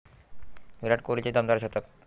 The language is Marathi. विराट कोहलीचे दमदार शतक